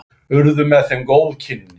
Urðu með þeim góð kynni.